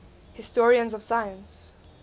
historians of science